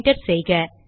enter செய்க